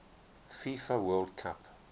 fifa world cup